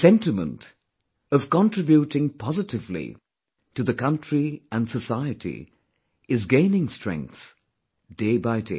The sentiment of contributing positively to the country & society is gaining strength, day by day